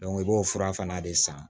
i b'o fura fana de san